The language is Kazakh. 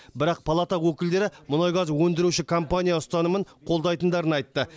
бірақ палата өкілдері мұнай газ өндіруші компания ұстанымын қолдайтындарын айтты